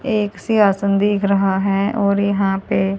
एक सियासन दिख रहा है और यहा पे